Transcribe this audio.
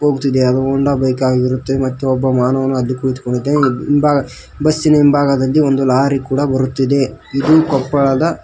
ಹೋಗುತಿದೆ ಅದು Honda bike ಆಗಿರುತ್ತೆ ಮತ್ತೆ ಒಬ್ಬ ಮಾರುವವನು ಅಲ್ಲಿ ಕುತ್ಕೊಂಡಿದೆ ಇಂಭಾ ಬಸ್ ಇನ ಇಂಭಾಗದಲ್ಲಿ ಒಂದು ಲಾರಿ ಕೂಡ ಬರುತ್ತಿದೆ ಇದು ಕೊಪ್ಪಳದ --